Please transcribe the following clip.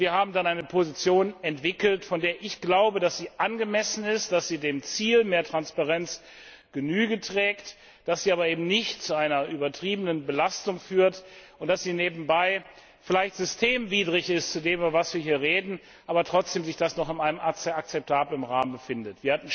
Wir haben dann eine Position entwickelt, von der ich glaube, dass sie angemessen ist, dass sie dem Ziel von mehr Transparenz Rechnung trägt, dass sie aber eben nicht zu einer übertriebenen Belastung führt und dass sie nebenbei vielleicht demgegenüber, worüber wir hier reden, systemwidrig ist, aber trotzdem sich das noch in einem akzeptablen Rahmen befindet.